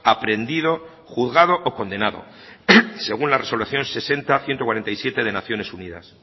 aprehendido juzgado o condenado según la resolución sesenta barra ciento cuarenta y siete de naciones unidas